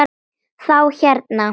Þá hérna.